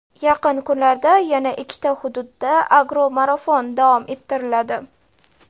Yaqin kunlarda yana ikkita hududda "Agro marafon" davom ettiriladi.